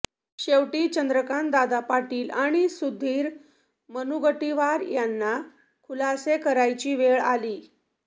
शेवटी चंद्रकांतदादा पाटील आणि सुधीर मुनगंटीवार यांना खुलासे करायची वेळ आली